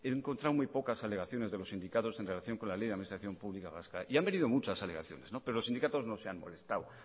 he encontrado muy pocas alegaciones de los sindicatos en relación con la ley de administración pública vasca y han venido muchas alegaciones pero los sindicatos no se han molestado